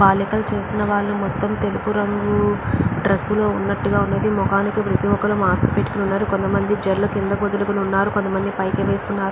బాలికలు చేసిన వాళ్ళు మొత్తం తెలుపు రంగు డ్రెస్ లో ఉన్నట్టు ఉన్నది. ముఖానికి ప్రతి ఒక్కరూ మాస్క్ పెట్టుకుని ఉన్నారు. కొంతమంది జడలు కిందకు వదులుకొని ఉన్నారు. కొందరు పైకి వేసుకున్నారు.